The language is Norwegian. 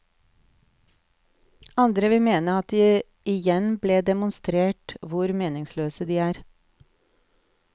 Andre vil mene at det igjen ble demonstrert hvor meningsløse de er.